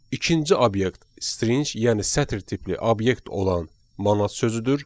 İkinci obyekt string yəni sətir tipli obyekt olan manat sözüdür.